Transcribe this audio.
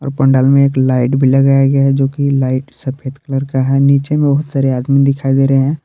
और पंडाल में एक लाइट भी लगाया गया है जो कि लाइट सफेद कलर का है नीचे में बहुत सारे आदमी दिखाई दे रहे हैं।